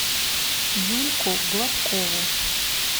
юльку гладкову